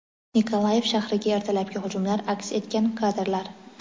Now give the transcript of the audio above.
Nikolaev shahriga ertalabki hujumlar aks etgan kadrlar.